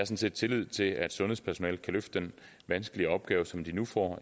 set tillid til at sundhedspersonalet kan løfte den vanskelige opgave som de nu får